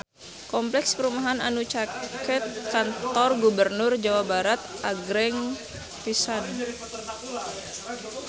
Kompleks perumahan anu caket Kantor Gubernur Jawa Barat agreng pisan